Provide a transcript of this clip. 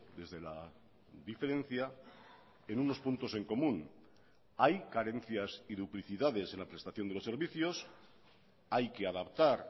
desde la diferencia en unos puntos en común hay carencias y duplicidades en la prestación de los servicios hay que adaptar